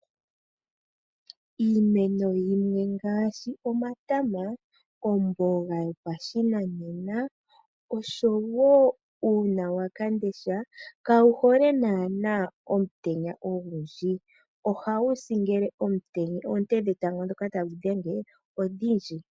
Iimeno yimwe ngaashi, omatama, omboga yopashinanena, osho wo uunawam'ndesha kawuhole naana omutenya ogundji, ohawu si ngele oonte dhatango dhoka tadhi wu dhenge odhindji.